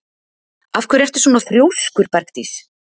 Af hverju ertu svona þrjóskur, Bergdís?